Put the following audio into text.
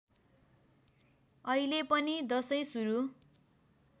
अहिलेपनि दशैँ सुरु